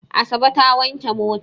Asabe ta wanke mota.